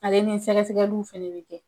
Ale ni sɛgɛsɛgɛliw fɛnɛ bi kɛ